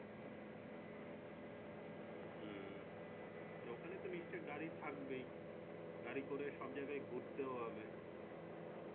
হম ওখানে তো নিশ্চয় গাড়ি থাকবেই গাড়ি করে সব জায়গাই ঘুরতেও হবে